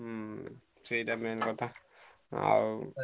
ହୁଁ ସେଇଟା main କଥା ଆଉ।